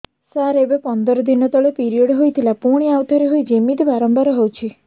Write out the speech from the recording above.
ସାର ଏବେ ପନ୍ଦର ଦିନ ତଳେ ପିରିଅଡ଼ ହୋଇଥିଲା ପୁଣି ଆଉଥରେ ହୋଇଛି ଏମିତି ବାରମ୍ବାର ହଉଛି